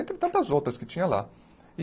Entre tantas outras que tinha lá e.